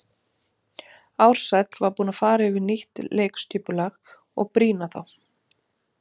Ársæll var búinn að fara yfir nýtt leikskipulag og brýna þá.